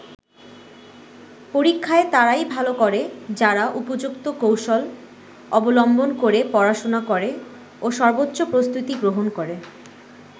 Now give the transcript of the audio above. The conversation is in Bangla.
পরীক্ষায় তারাই ভালো করে যারা উপযুক্ত কৌশল অবলম্বন করে পড়াশোনা করে ও সর্বোচ্চ প্রস্তুতি গ্রহণ করে।